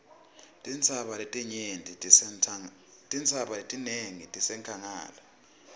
tintsaba letinengi tisenkhangala